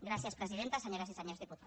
gràcies presidenta senyores i senyors diputats